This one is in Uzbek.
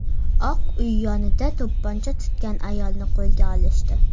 Oq uy yonida to‘pponcha tutgan ayolni qo‘lga olishdi.